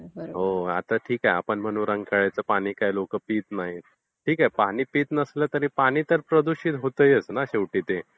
हो आता ठीक आहे. आपण म्हणू रंकाळाचं पाणी काही लोकं पित नाहीत. ठीक आहे पाणी पित नसले पण पाणी तर प्रदूषित तर होताच आहे,